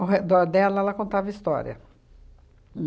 Ao redor dela, ela contava histórias.